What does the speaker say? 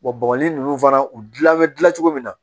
bɔgɔli ninnu fana u dilan bɛ dilan cogo min na